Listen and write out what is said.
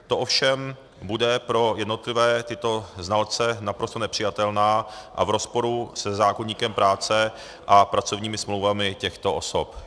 To ovšem bude pro jednotlivé tyto znalce naprosto nepřijatelné a v rozporu se zákoníkem práce a pracovními smlouvami těchto osob.